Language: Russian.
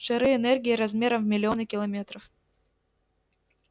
шары энергии размером в миллионы километров